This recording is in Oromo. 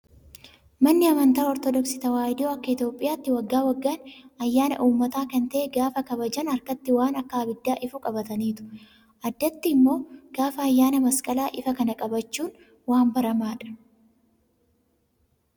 Manni amantaa ortodoksii tawaahidoo akka Itoophiyaatti waggaa waggaan ayyaana uumataa kan ta'e gaafa kabajan harkatti waan akka abiddaa ifu qabataniitu. Addatti immoo gaafa ayyaana masqalaa ifa kana qabachuun waan baramaadha.